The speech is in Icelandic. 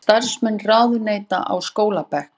Starfsmenn ráðuneyta á skólabekk